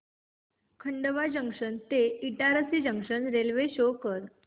Khandwa junction ते Itarsi junction railway शो कर